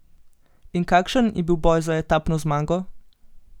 In kakšen je bil boj za etapno zmago?